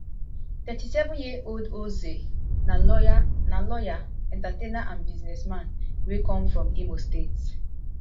thirty-seven years old ozee na lawyer na lawyer entertainer and businessman wey come from imo state